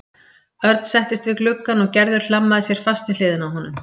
Örn settist við gluggann og Gerður hlammaði sér fast við hliðina á honum.